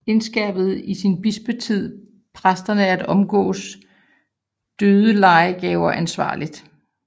Indskærpede i sin bispetid præsterne at omgås dødelejegaver ansvarligt